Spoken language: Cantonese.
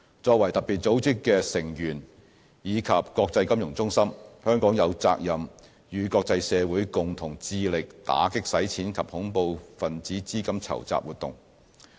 作為特別組織的成員及國際金融中心，香港有責任與國際社會共同致力打擊洗錢及恐怖分子資金籌集活動。